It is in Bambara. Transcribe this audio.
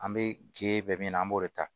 An bɛ gere bɛ min na an b'o de ta